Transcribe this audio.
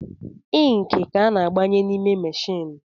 Inki ka a na-agbanye n’ime machine